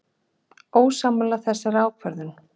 Ósammála þessari ákvörðun?